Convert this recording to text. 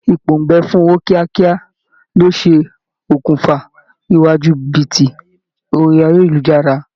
Ìpòǹgbẹ fun ọwọ́ kíákíá ló ṣe okùnfà ìwà jìbìtì orí ayélujára